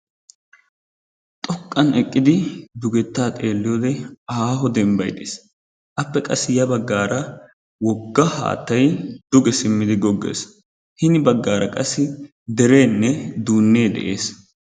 Xoqqan eqqidi dugettaa xeelliyoode aaho dembbay dees. Appe qassi ya baggaara wogga haattay duge simmidi goggees. Hini baggaara qassi dereenne duunnee de'es.